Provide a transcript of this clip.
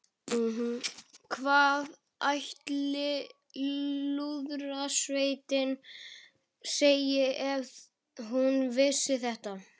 Hvað ætli Lúðrasveitin segði ef hún vissi þetta?